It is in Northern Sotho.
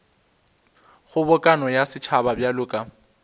kgobokano ya setšhaba bjalo ka